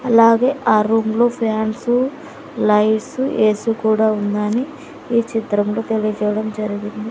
అలాగే ఆ రూమ్ లో ఫ్యాన్సు లైట్సు ఏసి కూడా ఉందని ఈ చిత్రంలో తెలియజేయడం జరిగింది.